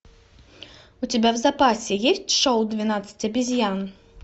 у тебя в запасе есть шоу двенадцать обезьян